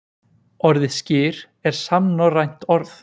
Orðið skyr er samnorrænt orð.